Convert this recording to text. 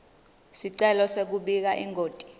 sicelo sekubika ingoti